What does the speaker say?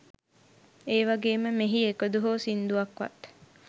ඒවගේම මෙහි එකදු හෝ සිංදුවක්වත්